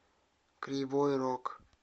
кривой рог